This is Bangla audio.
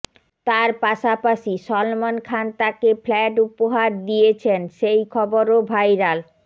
তার পাশাপাশি সলমন খান তাকে ফ্ল্যাট উপহার দিয়েছেন সেই খবরও ভাইরাল